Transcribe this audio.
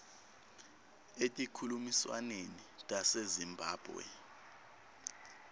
etinkhulumiswaneni tase zimbabwe